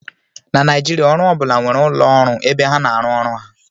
Na Naijiria, ọrụ ọ bụla nwere ụlọ ọrụ ebe ha na-arụ ọrụ ha